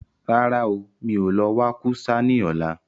Rárá ooo, mi ò lọ wa kú sá ní ọ̀la